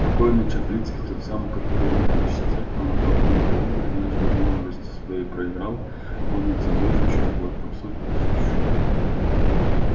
покойный чаплицкий тот самый который умер в нищете промотав миллионы однажды в молодости своей проиграл помнится зоричу около трёхсот тысяч